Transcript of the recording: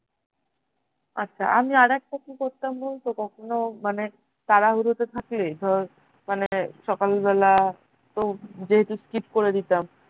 আচ্ছা আমি আরেকটা কি করতাম বলতো কখনও মানে তাড়াহুড়োতে থাকলে ধর মানে সকালবেলা তো যেহেতু skip করে দিতাম